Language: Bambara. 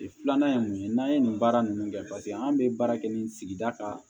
Filanan ye mun ye n'an ye nin baara ninnu kɛ paseke an be baara kɛ nin sigida ka